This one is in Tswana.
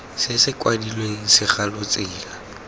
se se kwadilweng segalo tsela